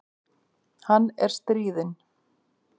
Hann er stríðinn.